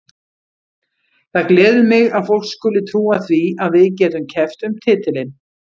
Það gleður mig að fólk skuli trúa því að við getum keppt um titilinn.